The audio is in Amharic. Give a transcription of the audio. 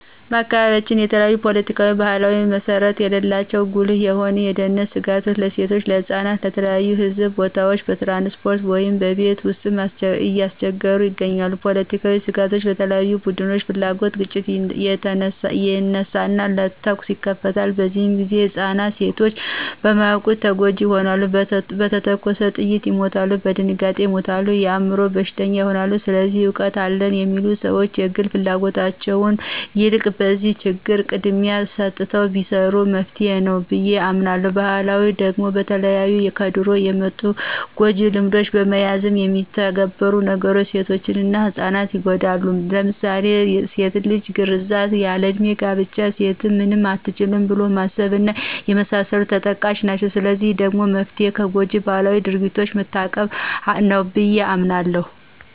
በአካባቢያችን የተለያዪ ፖለቲካዊና ባህላዊ መሰረት ያላቸው ጉልህ የሆኑ የደህንነት ስጋቶች ለሴቶችና ለህጻናት በተለያዩ የህዝብ ቦታዎች፣ በትራንስፖርት ውይም በቤት ውስጥ እያስቸገሩ ይገኛሉ። ፖለቲካዊ ስጋቶች በተለያዩ ቡድኖች ፍላጉት ግጭት ይነሳና ተኩስ ይከፈታል፤ በዚህ ግዜ ህፃናትና ሴቶች በማያዉቁት ተጎጅ ይሆናሉ፣ በተተኮሰ ጥይት ይመታሉ፣ በድንጋጤ ይሞታሉ፣ የአይምሮ በሽተኛም ይሆናሉ። ስለዚህ እውቀት አለን የሚሉ ሰዎች ከግል ፍላጎታቸው የልቅ ለነዚህ ችግሮች ቅድሚያ ሰተው ቢሰሩ መፍትሄ ነዉ ብየ አምናለሁ። በባህላዊ ደግሞ በተለያዩ ከድሮ የመጡ ጎጅ ልማዶችን በመያዝ የሚተገበሩ ነገሮች ሴቶችና ህጻናት ይጎዳሉ ለምሳሌ ድስት ልጅ ግርዛት፣ ያል ለዕድሜ ጋብቻ፣ ሴት ምንም አትችልም ብሎ ማሰብ እና የመሳሰሉት ተጠቃሽ ናቸው። ለዚህ ደግሞ መፍትሄው ከጎጅ ባህላዊ ድርጊቶች መታቀብ ነው ብየ አምናለሁ።